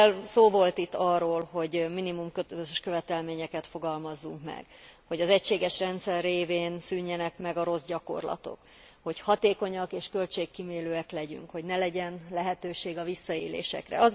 Szó volt itt arról, hogy minimum közös követelményeket fogalmazzunk meg, hogy az egységes rendszer révén szűnjenek meg a rossz gyakorlatok, hogy hatékonyak és költségkímélőek leegyünk, hogy ne legyen lehetőség a visszaélésekre.